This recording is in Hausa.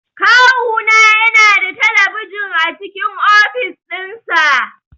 Kawu na yana da talabijin a cikin ofis din sa.